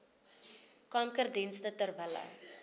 kankerdienste ter wille